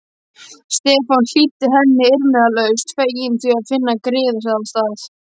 Stefán hlýddi henni umyrðalaust, feginn því að finna griðastað.